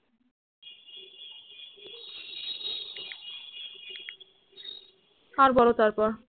আর বলো তারপর